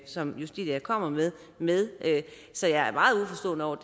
som justitia kommer med med så jeg er meget uforstående over